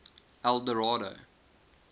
eldorado